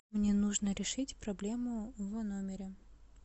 мне нужно решить проблему в номере